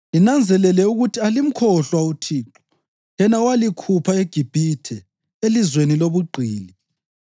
linanzelele ukuthi alimkhohlwa uThixo, yena owalikhupha eGibhithe, elizweni lobugqili.